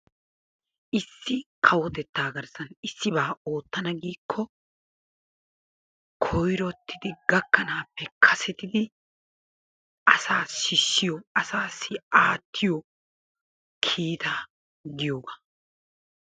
Issi kawotettaa garssan issibaa ootana giikko koyrottidi gakkanaappe kasettidi asaa sissiyo asaassi aattiyo kiittaa giyoogaa.